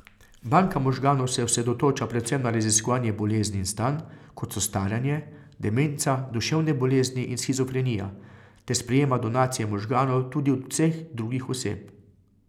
Banka možganov se osredotoča predvsem na raziskovanje bolezni in stanj, kot so staranje, demenca, duševne bolezni in shizofrenija, ter sprejema donacije možganov tudi od vseh drugih oseb.